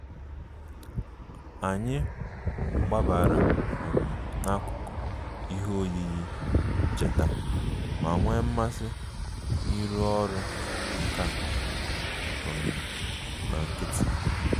Anyị gbabara um n'akụkụ ihe oyiyi ncheta ma nwee mmasị n'ịrụ ọrụ nka um na nkịtị